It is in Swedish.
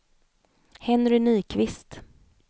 Henry Nyqvist